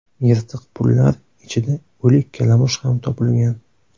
Yirtiq pullar ichida o‘lik kalamush ham topilgan.